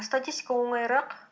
статистика оңайырақ